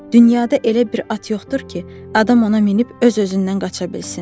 Dünyada elə bir at yoxdur ki, adam ona minib öz-özündən qaça bilsin.